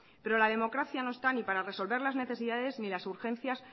pero la democracia no está ni para resolver las necesidades ni las urgencias